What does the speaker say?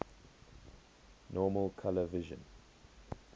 normal color vision